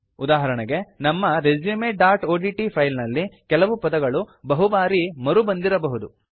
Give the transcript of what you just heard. ಉದಾಹರಣೆಗಾಗಿ ನಮ್ಮ resumeಒಡಿಟಿ ಫೈಲ್ ನಲ್ಲಿ ಕೆಲವು ಪದಗಳು ಬಹುಬಾರಿ ಮರುಬಂದಿರಬಹುದು